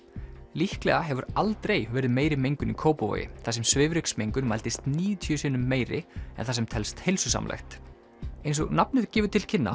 líklega hefur aldrei verið meiri mengun í Kópavogi þar sem svifryksmengun mældist níutíu sinnum meiri en það sem telst heilsusamlegt eins og nafnið gefur til kynna